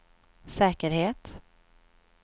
säkerhet